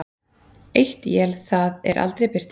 Eitt él það er aldrei birtir.